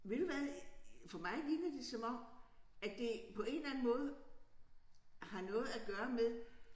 Ved du hvad øh for mig virker det som om at det på en eller anden måde har noget at gøre med